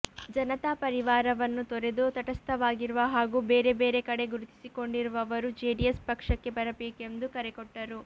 ಜನತಾ ಪರಿವಾರವನ್ನು ತೊರೆದು ತಟಸ್ಥವಾಗಿರುವ ಹಾಗೂ ಬೇರೆ ಬೇರೆ ಕಡೆ ಗುರುತಿಸಿಕೊಂಡಿರುವವರು ಜೆಡಿಎಸ್ ಪಕ್ಷಕ್ಕೆ ಬರಬೇಕೆಂದು ಕರೆ ಕೊಟ್ಟರು